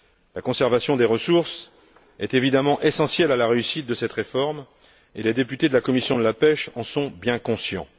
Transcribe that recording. La conservation des ressources est évidemment essentielle à la réussite de cette réforme, et les députés de la commission de la pêche en sont bien conscients.